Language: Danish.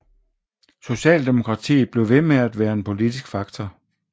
Socialdemokratiet blev ved med at være en politisk faktor